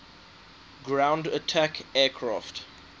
ground attack aircraft